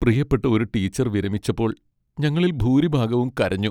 പ്രിയപ്പെട്ട ഒരു ടീച്ചർ വിരമിച്ചപ്പോൾ ഞങ്ങളിൽ ഭൂരിഭാഗവും കരഞ്ഞു.